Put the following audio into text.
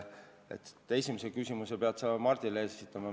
Oma esimese küsimuse pead sa Mardile esitama.